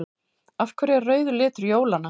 Af hverju er rauður litur jólanna?